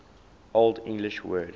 old english word